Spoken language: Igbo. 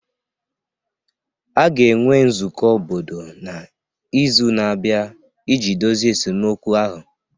A ga-enwe nzukọ obodo n'izu na-abịa iji dozie esemokwu ahụ